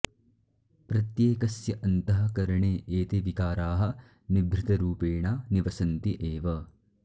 प्रत्येकस्य अन्तः करणे एते विकाराः निभृतरुपेणा निवसन्ति एव